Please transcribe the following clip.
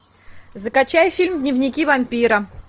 закачай фильм дневники вампира